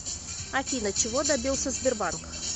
афина чего добился сбербанк